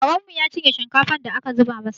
Karenmu ya cinye shinkafar da aka zuba masa